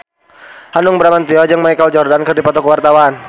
Hanung Bramantyo jeung Michael Jordan keur dipoto ku wartawan